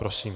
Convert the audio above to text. Prosím.